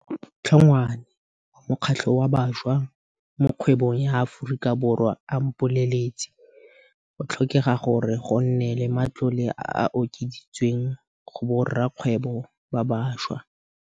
Hlongwane wa mokgatlho wa Bašwa mo Kgwebong ya Aforika Borwa a mpoleletse, go tlhokega gore go nne le matlole a a okeditsweng go borakgwebo ba bašwa.